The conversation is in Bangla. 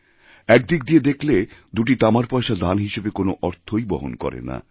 একদিক দিয়ে দেখলে দুটি তামার পয়সা দান হিসেবে কোনো অর্থই বহন করে না